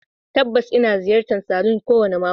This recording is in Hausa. Tabbas, ina ziyartar salon kowane mako.